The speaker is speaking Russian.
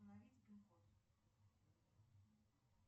установить пин код